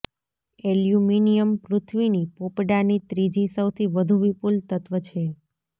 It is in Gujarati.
એલ્યુમિનિયમ પૃથ્વીની પોપડાની ત્રીજી સૌથી વધુ વિપુલ તત્વ છે